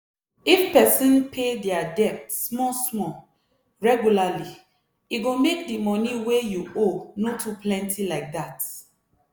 if person pay dia debt small-small regularly e go make di money wey you owe no too plenty like dat